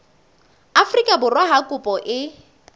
afrika borwa ha kopo e